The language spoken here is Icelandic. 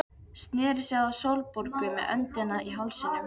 Sneri sér að Sólborgu með öndina í hálsinum.